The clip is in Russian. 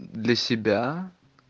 для себя